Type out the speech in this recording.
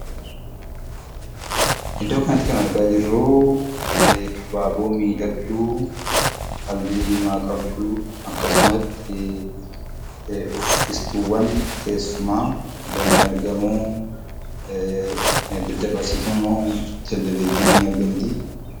Iddoo kanatti kan argaa jirru abaaboo miidhagduu, halluu diimaa qabdu akkasumas uffistuuwwan teessumaa illee ni argamu. Daddabarsituun Televezyiinii ni argamti.